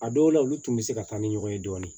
A dɔw la olu tun bɛ se ka taa ni ɲɔgɔn ye dɔɔni